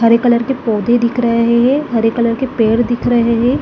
हरे colour के पौधे दिख रहे है हरे कलर के पेड़ दिख रहे है।